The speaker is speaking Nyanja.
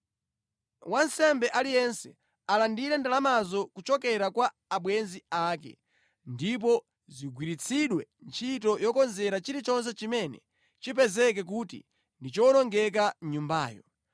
Wansembe aliyense alandire ndalamazo kuchokera kwa abwenzi ake, ndipo zigwiritsidwe ntchito yokonzera chilichonse chimene chipezeke kuti ndi chowonongeka mʼnyumbayo.”